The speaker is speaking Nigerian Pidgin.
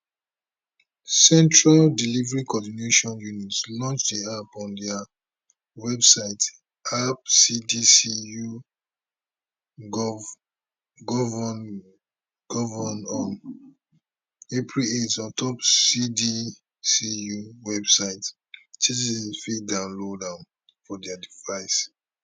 central delivery coordination unit launch di app on dia websiteappcdcugovngon april 8 ontop cdcu website citizens fit download am for dia devices